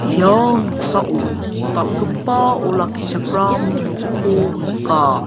ia noksao dal·gipa olakkichakram nokko nika.